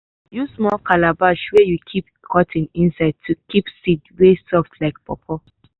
use small calabash wey you put cotton inside to keep seed wey soft like pawpaw.